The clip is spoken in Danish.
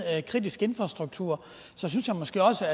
kritisk infrastruktur så synes jeg måske også